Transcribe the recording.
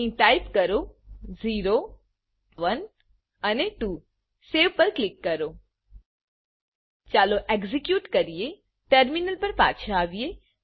અહી ટાઈપ કરો 0 1 અને 2સેવ પર ક્લિક કરો ચાલો એક્ઝેક્યુટ કરીએ ટર્મિનલ પર પાછા આવીએ